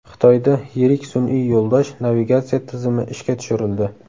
Xitoyda yirik sun’iy yo‘ldosh navigatsiya tizimi ishga tushirildi.